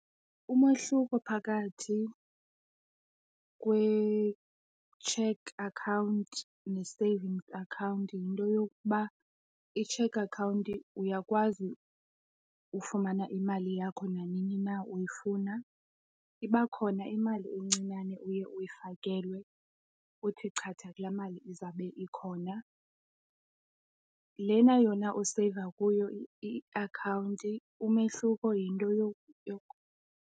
Umahluko phakathi kwe-cheque account ne-savings account yinto yokuba i-cheque account uyakwazi ufumana imali yakho nanini na uyifuna. Iba khona imali encinane oye uyifakelwe kuthi chatha kula mali izawube ikhona. Lena yona useyiva kuyo iakhawunti umehluko yinto yokokuba.